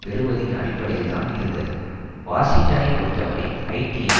பெறுவதின் அடிப்டையில்தான் இருந்தது வாஷிங்டனை பொறுத்தவரை ஹைட்டியை